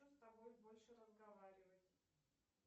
не хочу с тобой больше разговаривать